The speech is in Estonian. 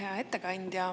Hea ettekandja!